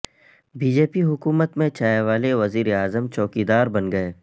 be J P حکومت میں چائے والے وزیراعظم چوکیدار بن گئے